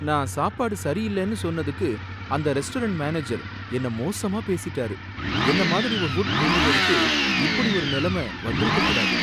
நான் சாப்பாடு சரியில்லனு சொன்னதுக்கு அந்த ரெஸ்டாரன்ட் மேனேஜர் என்ன மோசமா பேசிட்டாரு, என்ன மாதிரி ஒரு ஃபுட் ரிவ்யுவருக்கு இப்படி ஒரு நிலைமை வந்திருக்கக் கூடாது